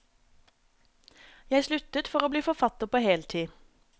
Jeg sluttet for å bli forfatter på heltid.